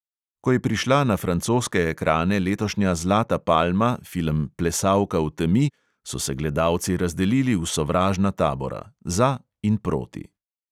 Ko je prišla na francoske ekrane letošnja zlata palma, film plesalka v temi, so se gledalci razdelili v sovražna tabora: za in proti.